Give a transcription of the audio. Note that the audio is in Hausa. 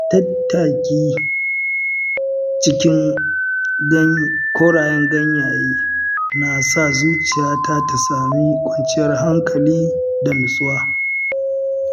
Tattaki a cikin korayen ganyaye na sa zuciyata ta sami kwanciyar hankali da nutsuwa.